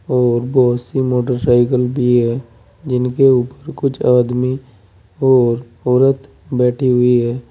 और बोहोत सी मोटरसाइकिल भी हैं जिनके ऊप कुछ आदमी और औरत बैठी हुई हैं।